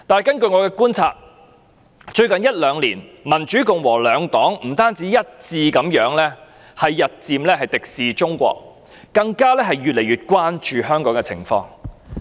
根據我的觀察，最近一兩年，民主、共和兩黨不但一致日漸敵視中國，更越來越關注香港的情況。